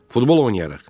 Futbol oynarıq.